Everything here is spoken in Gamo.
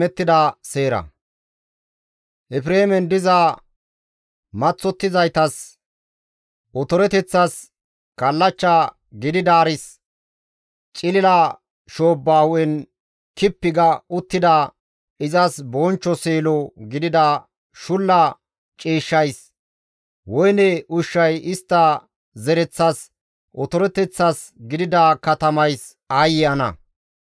Efreemen diza maththottizaytas, otoreteththas, kallachcha gididaaris, cilila shoobba hu7en kippi ga uttida, izas bonchcho seelo gidida shulla ciishshays, woyne ushshay istta zereththas otoreteththas gidida katamays aayye ana!